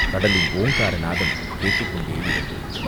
கடலின் ஓங்கார நாதம் கேட்டுக் கொண்டே இருந்தது.